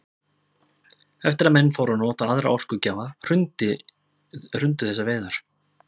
Eftir að menn fóru að nota aðra orkugjafa hrundu þessar veiðar.